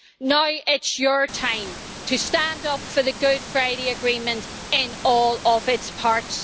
Now it is your time to stand up for the Good Friday Agreement in all of its parts.